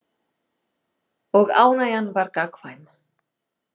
Og ánægjan var gagnkvæm.